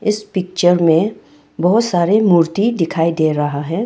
इस पिक्चर में बहोत सारे मूर्ति दिखाई दे रहा है।